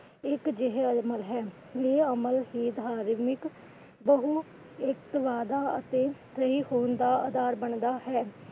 ਇੱਕ ਜਿਹੇ ਅਮਲ ਹੈ। ਇਹ ਅਮਲ ਧਾਰਮਿਕ ਇੱਕ ਵੱਡਾ ਅਤੇ ਸਹੀ ਹੋਣ ਦਾ ਅਧਾਰ ਬਣਦਾ ਹੈ।